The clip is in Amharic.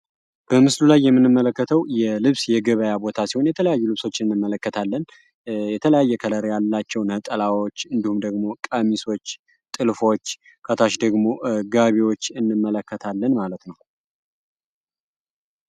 በምስሉ ላይ የምንመለከተው የልብስ የገበያ ቦታ ሲሆን፤ የተለያዩ ልብሶችን እንመለከታለን። የተለያየ ከለር ያላቸው ነጠላዎች እንዲሁም ደግሞ ቀሚሶች፣ ጥልፎች ከታች ደግሞ ጋቢዎች እንመለከታለን ማለት ነው ።